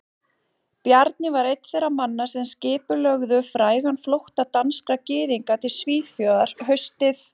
Bjarni var einn þeirra manna sem skipulögðu frægan flótta danskra gyðinga til Svíþjóðar haustið